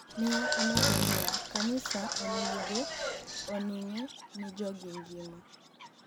ni e omedo niiya:"Kaniisa oni ego onig'e nii jogi nigima.'